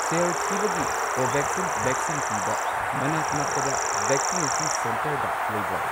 ꯁꯦꯜ ꯊꯤꯕꯒꯤ ꯀꯣꯚꯦꯛꯁꯤꯟ ꯚꯦꯛꯁꯤꯟ ꯄꯤꯕ ꯃꯅꯥꯛ ꯅꯛꯄꯗ ꯚꯦꯛꯁꯤꯅꯦꯁꯟ ꯁꯦꯟꯇꯔꯒ ꯂꯩꯕ꯭ꯔꯥ?